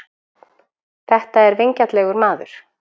Þetta er vingjarnlegur maður.